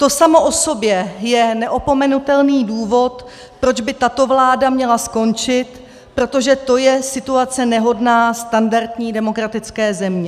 To samo o sobě je neopomenutelný důvod, proč by tato vláda měla skončit, protože to je situace nehodná standardní demokratické země.